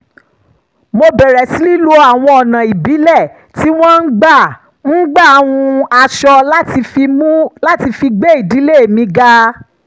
mo bẹ̀rẹ̀ sí lo àwọn ọ̀nà ìbílẹ̀ tí wọ́n ń gbà ń gbà hun aṣọ láti fi um gbé ìdílé mi ga